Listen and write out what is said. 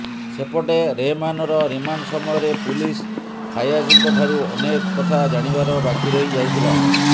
ସେପଟେ ରେହମାନର ରିମାଣ୍ଡ ସମୟରେ ପୁଲିସ ଫାୟାଜଙ୍କ ଠାରୁ ଅନେକ କଥା ଜାଣିବାର ବାକି ରହି ଯାଇଥିଲା